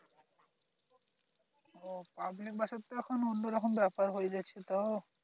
public bus এর তো এখন অন্যরকম ব্যাপার হয়ে যাচ্ছে তো